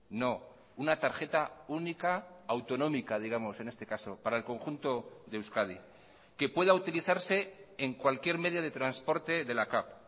no una tarjeta única autonómica digamos en este caso para el conjunto de euskadi que pueda utilizarse en cualquier medio de transporte de la cav